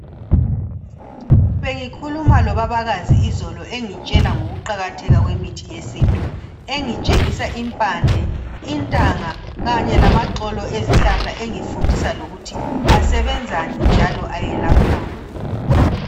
Bengikhuluma lobabakazi izolo engitshela ngokuqakatheka kwemithi yesintu engitshengisa impande, intanga kanye lamaxolo ezihlahla engifundisa lokuthi asebenzani njalo ayelaphani.